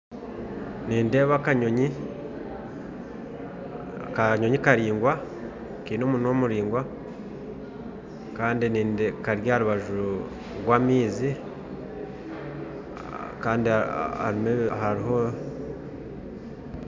Nindeeba akanyonyi akanyonyi karingwa nkaine omunwa muraingwa kari aharubaju rwa amaizi